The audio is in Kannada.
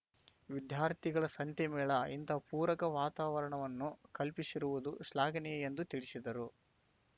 ವಿದ್ಯಾರ್ಥಿಗಳ ಸಂತೆ ಮೇಳ ಇಂತಹ ಪೂರಕ ವಾತಾವರಣವನ್ನು ಕಲ್ಪಿಸಿರುವುದು ಶ್ಲಾಘನೀಯ ಎಂದು ತಿಳಿಸಿದರು